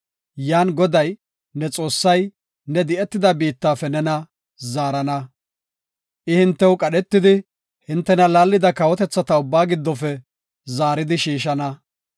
yan Goday, ne Xoossay ne di7etida biittafe nena zaarana. I hintew qadhetidi hintena laallida kawotethata ubbaa giddofe zaaridi shiishana.